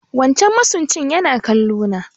Wancan masunci yana kallo na